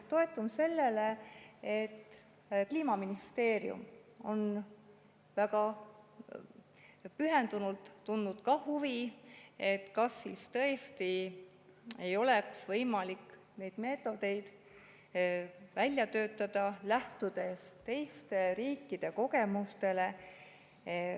Toetun sellele, et Kliimaministeerium on väga pühendunult tundnud huvi, kas siis tõesti ei oleks võimalik neid meetodeid välja töötada, lähtudes teiste riikide kogemustest.